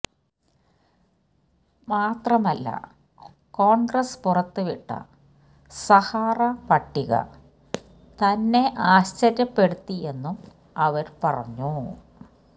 മാത്രമല്ല കോണ്ഗ്രസ് പുറത്തുവിട്ട സഹാറ പട്ടിക തന്നെ അശ്ചര്യപ്പെടുത്തിയെന്നും അവര് പറഞ്ഞു